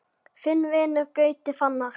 Þinn vinur, Gauti Fannar.